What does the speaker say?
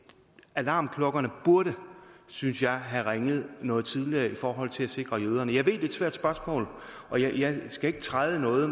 alarmklokkerne burde synes jeg have ringet noget tidligere i forhold til at sikre jøderne jeg ved det er et svært spørgsmål og jeg skal ikke træde i noget